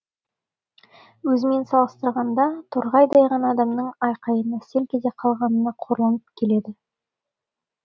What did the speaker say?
өзімен салыстырғанда торғайдай ғана адамның айқайына селк ете қалғанына қорланып келеді